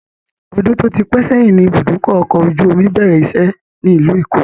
Odun tó ti pẹ sẹ́yìn ni ibùdókọ̀ ọkọ̀ ojú omi bẹ̀rẹ̀ ìṣe ni ilu èkó